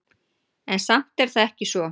En samt er það ekki svo.